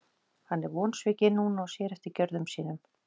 Hann er vonsvikinn núna og sér eftir gjörðum sínum.